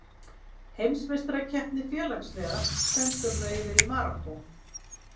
Heimsmeistarakeppni félagsliða stendur nú yfir í Marokkó.